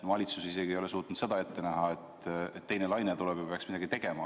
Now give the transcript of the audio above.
Valitsus isegi ei ole suutnud seda ette näha, et teine laine tuleb ja peaks midagi tegema.